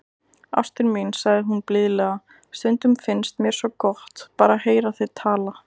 Ástin mín, sagði hún blíðlega,- stundum finnst mér svo gott, bara að heyra þig tala.